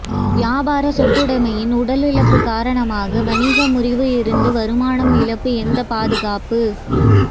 வியாபார சொத்துடைமையின் உடல் இழப்பு காரணமாக வணிக முறிவு இருந்து வருமானம் இழப்பு எந்த பாதுகாப்பு